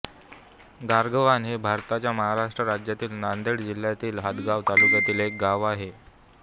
गारगव्हाण हे भारताच्या महाराष्ट्र राज्यातील नांदेड जिल्ह्यातील हदगाव तालुक्यातील एक गाव आहे